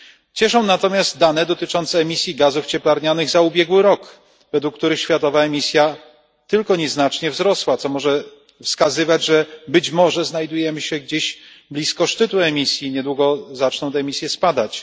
Cieszą natomiast dane dotyczące emisji gazów cieplarnianych za ubiegły rok, według których światowa emisja tylko nieznacznie wzrosła, co może wskazywać, że być może znajdujemy się gdzieś blisko szczytu emisji, niedługo zaczną te emisje spadać.